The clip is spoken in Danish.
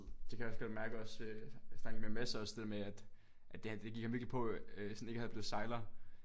Det kan jeg også godt mærke også øh jeg snakkede med Mads også det der med at at det det gik ham virkelig på øh sådan ikke at blive sejler